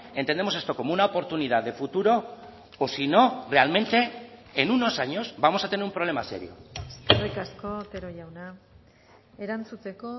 entendemos esto como una oportunidad de futuro o si no realmente en unos años vamos a tener un problema serio eskerrik asko otero jauna erantzuteko